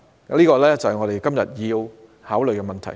這正是我們今天要考慮的問題。